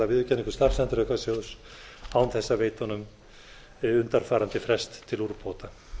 geti afturkallað viðurkenningu starfsendurhæfingarsjóðs án þess að veita honum undanfarandi frest til úrbóta